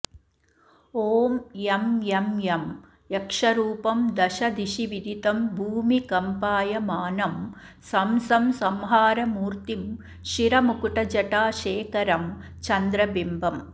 ॐ यं यं यं यक्षरूपं दशदिशिविदितं भूमिकम्पायमानं सं सं संहारमूर्तिं शिरमुकुटजटा शेखरं चन्द्रबिम्बम्